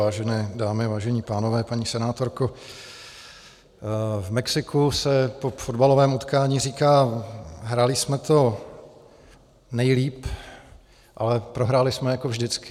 Vážené dámy, vážení pánové, paní senátorko, v Mexiku se po fotbalovém utkání říká: Hráli jsme to nejlíp, ale prohráli jsme jako vždycky.